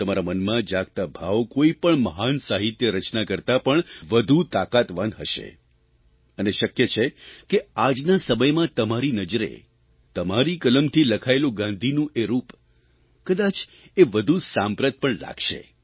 તમારા મનમાં જાગતા ભાવ કોઇપણ મહાન સાહિત્ય રચના કરતાં પણ વધુ તાકાતવાન હશે અને શક્ય છે કે આજના સમયમાં તમારી નજરે તમારી કલમથી લખેલું ગાંધીનું એ રૂપ કદાચ એ વધુ સાંપ્રત પણ લાગશે